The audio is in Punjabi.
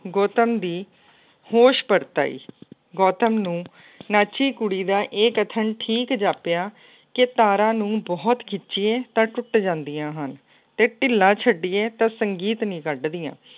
ਗੌਤਮ ਦੀ ਹੋਸ਼ ਪਰਤ ਆਈ। ਗੌਤਮ ਨੂੰ ਨਾਚੀ ਕੁੜੀ ਦਾ ਇਹ ਕਥਨ ਠੀਕ ਜਾਪਿਆ ਕਿ ਤਾਰਾਂ ਨੂੰ ਬਹੁਤ ਖਿੱਚੀਏ ਤਾਂ ਟੁੱਟ ਜਾਂਦੀਆਂ ਹਨ ਅਤੇ ਢਿੱਲਾ ਛੱਡੀਏ ਤਾਂ ਸੰਗੀਤ ਨਹੀਂ ਕੱਢਦੀਆਂ।